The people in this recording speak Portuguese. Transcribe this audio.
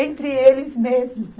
Entre eles mesmos.